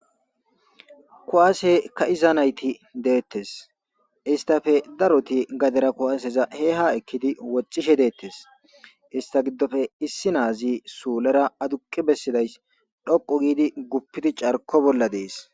kuwase ka'iza nayti deettes, istappe daroti gadera kuwaseza ekkidi woxishe deettes, ista giddoppe issi naazi suulera aduqi bessidays dhoqu giidi guppidi carko bolla dees